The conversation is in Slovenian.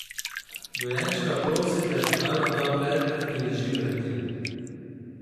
Dojenčka prosite, naj vam da predmet, ki leži pred njim.